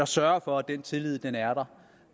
sørger for at den tillid er der